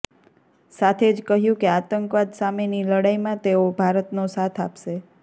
સાથે જ કહ્યું કે આતંકવાદ સામેની લડાઈમાં તેઓ ભારતનો સાથ આપશે